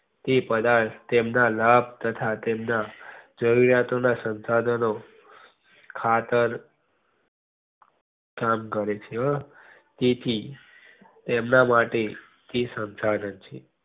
તે પદાર્થ તેમના લાભ તથા તેમના શંશાધનો જરૂરિયાતો ના શંશાધનો ખાતર સ્થાન કરે છે તેથી તેમના માટે તે શંશાધન છે.